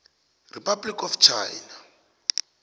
republic of china